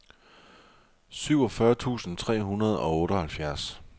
syvogfyrre tusind tre hundrede og otteoghalvfjerds